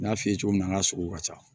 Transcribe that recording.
N y'a f'i ye cogo min na an ka sogo ka ca